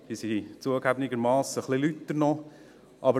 Die sind, zugegebenermassen, noch etwas lauter.